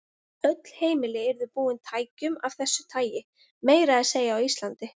Öll heimili yrðu búin tækjum af þessu tagi, meira að segja á Íslandi.